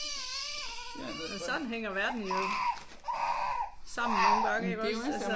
Sådan hænger verden jo sammen nogle gange iggås altså